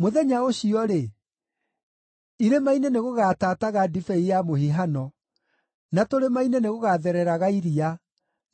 “Mũthenya ũcio-rĩ, irĩma-inĩ nĩgũgatataga ndibei ya mũhihano, na tũrĩma-inĩ nĩgũgathereraga iria,